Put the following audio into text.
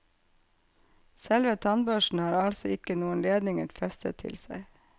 Selve tannbørsten har altså ikke noen ledninger festet til seg.